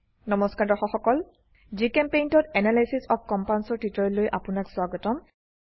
নমস্কাৰ দৰ্শক সকল GChemPaintত এনালাইচিচ অফ কম্পাউণ্ডছ ৰ টিউটোৰিয়েললৈ আপোনাক স্বাগতম